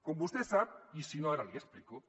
com vostè sap i si no ara l’hi explico